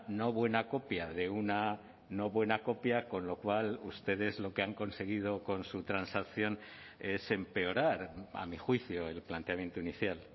no buena copia de una no buena copia con lo cual ustedes lo que han conseguido con su transacción es empeorar a mi juicio el planteamiento inicial